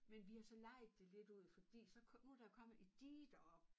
Men vi har så lejet det lidt ud fordi så kom nu der jo kommet et dige deroppe